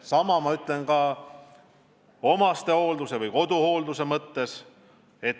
Sama kehtib omastehoolduse või koduhoolduse kohta.